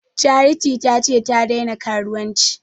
Charity ta ce ta daina karuwanci